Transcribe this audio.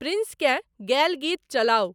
प्रिंसकें गयल गीत चलाउ ।